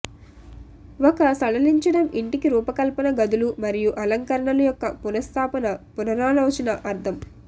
ఒక సడలించడం ఇంటికి రూపకల్పన గదులు మరియు అలంకరణలు యొక్క పునఃస్థాపన పునరాలోచన అర్థం